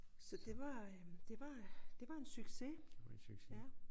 Så det var øh det var det var en succes